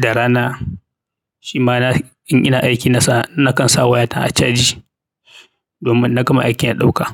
da rana, shi ma in ina aiki nakan sa wayata a caji domin in na gama aiki na ɗauka.